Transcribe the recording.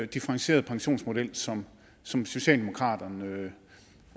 differentierede pensionsmodel som som socialdemokraterne